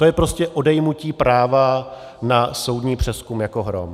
To je prostě odejmutí práva na soudní přezkum jako hrom.